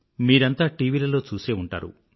మీరంతా టీవీలలో చూసే ఉంటారు